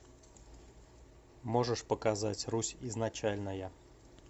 можешь показать русь изначальная